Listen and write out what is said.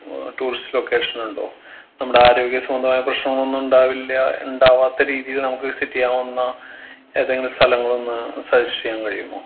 ഏർ tourist location ഉണ്ടോ നമ്മുടെ ആരോഗ്യ സംബന്ധമായ പ്രശ്നങ്ങളൊന്നും ഇണ്ടാവില്ല ഇണ്ടാവാത്ത രീതിയിൽ നമുക്ക് visit യ്യാവുന്ന ഏതെങ്കിലും സ്ഥലങ്ങളൊന്ന് suggest എയ്യാൻ കഴിയുമോ